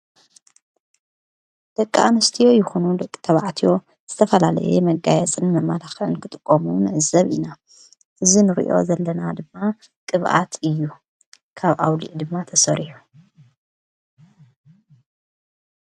ደቂ ኣንስትዮ ይኾኑ ደቂ ተብዓትዮ ዝተፈላለየ መጋየጽን መማላኽዕን ክጥቆሙ ንዘብ ኢና ዝንርእዮ ዘለና ድማ ቅብኣት እዩ ካብ ኣውሊዕ ድማ ተሠርሑ።